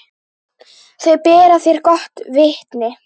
Þau bera þér gott vitni.